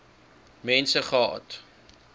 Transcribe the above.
mense gehad